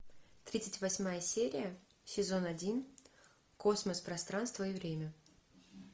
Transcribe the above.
тридцать восьмая серия сезон один космос пространство и время